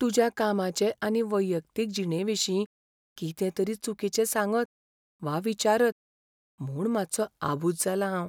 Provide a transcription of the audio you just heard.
तुज्या कामाचे आनी वैयक्तीक जिणेविशीं कितें तरी चुकीचें सांगत वा विचारत म्हूण मातसों आबूज जालां हांव.